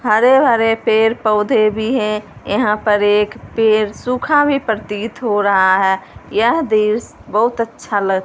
हरे-हरे पेड़ पौधे भी हैं यहां पर एक पेड़ सुखा भी प्रतीत हो रहा हैं यह देश बहुत अच्छा लग --